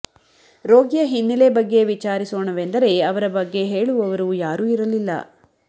ರೋಗಿಯ ಹಿನ್ನೆಲೆ ಬಗ್ಗೆ ವಿಚಾರಿಸೊಣವೆಂದರೆ ಅವರ ಬಗ್ಗೆ ಹೇಳುವವರು ಯಾರು ಇರಲಿಲ್ಲ